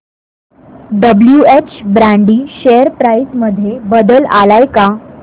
WH Brady share price मध्ये बदल आलाय का